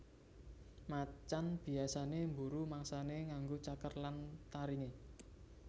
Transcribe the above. Macan biyasané mburu mangsané nganggo cakar lan taringé